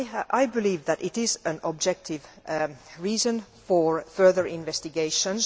I believe that it is an objective reason for further investigations.